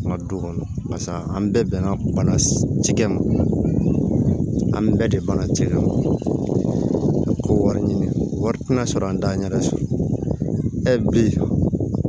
An ka du kɔnɔ barisa an bɛɛ bɛnna bana cikɛ ma an bɛɛ de banna cɛ kan ko wari ɲini wari tɛ na sɔrɔ an t'a ɲɛ da su